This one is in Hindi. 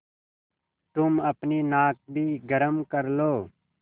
तुम अपनी नाक भी गरम कर लो